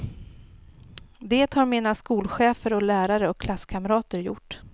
Det har mina skolchefer och lärare och klasskamrater gjort.